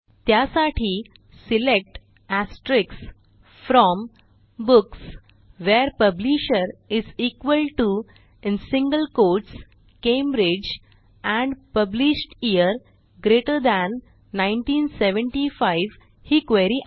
त्यासाठी select from books where publisher Cambridge and published year GT 1975 ही query आहे